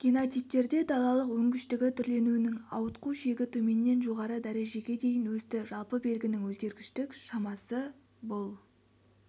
генотиптерде далалық өнгіштігі түрленуінің ауытқу шегі төменнен жоғары дәрежеге дейін өсті жалпы белгінің өзгергіштік шамасы бұл